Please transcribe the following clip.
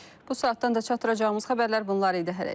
Bu saatdan da çatdıracağımız xəbərlər bunlar idi, hələlik.